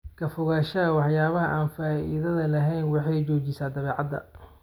Ka fogaanshaha waxyaabaha aan faa'iidada lahayn waxay xoojisaa dabeecadda.